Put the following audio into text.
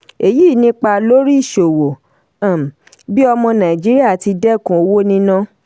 èyí nípa lórí ìṣòwò um bí ọmọ nàìjíríà ti dẹ́kun owó níná.